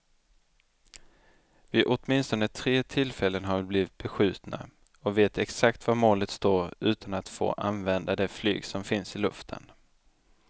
Vid åtminstone tre tillfällen har vi blivit beskjutna och vet exakt var målet står utan att få använda det flyg som finns i luften.